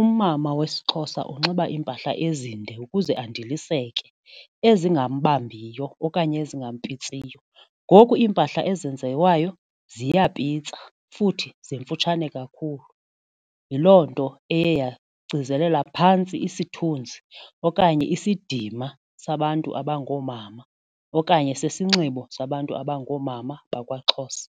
umama wesiXhosa unxiba iimpahla ezinde ukuze undilisekile ezingambambiyo okanye ezingampitsiyo. Ngoku iimpahla ezenziwayo ziyapitsa futhi zifutshane kakhulu yiloo nto eye yagcizelela phantsi isithunzi okanye isidima sabantu abangoomama okanye sisinxibo sabantu abangoomama bakwaXhosa.